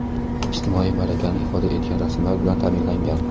ijtimoiy malakani ifoda etgan rasmlar bilan taʼminlangan.